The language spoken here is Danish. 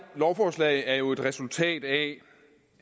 lovforslag er jo et resultat af